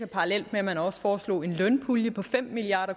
parallelt med at man også foreslog en lønpulje på fem milliard